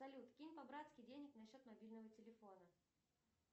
салют кинь по братски денег на счет мобильного телефона